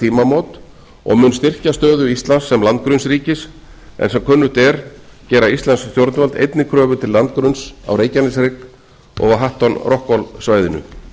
tímamót og mun styrkja stöðu íslands sem landgrunnsríkis en sem kunnugt er gera íslensk stjórnvöld einnig kröfu til landgrunns á reykjaneshrygg og á hatton rockall svæðinu